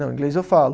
Não, inglês eu falo.